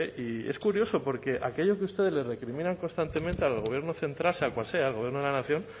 y es curioso porque aquello que ustedes le recriminan constantemente al gobierno central sea cual sea el gobierno de la nación